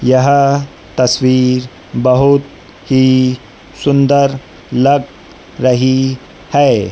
यह तस्वीर बहुत ही सुंदर लग रही है।